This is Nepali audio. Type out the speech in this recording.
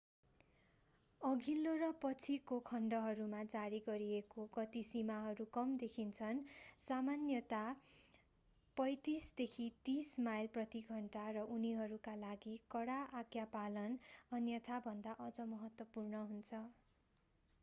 अघिल्लो र पछिको खण्डहरूमा जारी गरिएको गति सीमाहरू कम देखिन्छन् - सामान्यतया 35-40 माइल प्रति घण्टा 56-64 किमी प्रति घण्टा - र उनीहरूका लागि कडा आज्ञापालन अन्यथाभन्दा अझ महत्त्वपूर्ण हुन्छ।